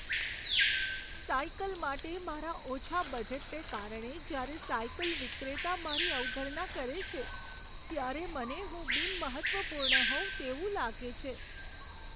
Cycle માટે મારા ઓછા બજેટને કારણે જ્યારે સાયકલ વિક્રેતા મારી અવગણના કરે છે, ત્યારે મને હું બિનમહત્ત્વપૂર્ણ હોઉં તેવું લાગે છે.